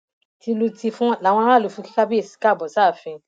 tìlù tìfọn làwọn aráàlú náà fi kí kábíyèsí káàbọ sáàfin